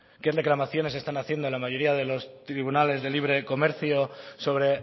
qué reclamaciones están haciendo a la mayoría de los tribunales de libre comercio sobre